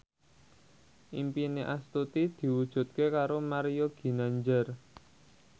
impine Astuti diwujudke karo Mario Ginanjar